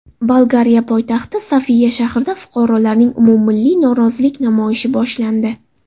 Bolgariya poytaxti Sofiya shahrida fuqarolarning umummilliy norozilik namoyishi boshlandi.